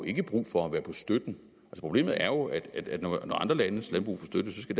ikke brug for at være på støtten problemet er jo at når andre landes landbrug får støtte skal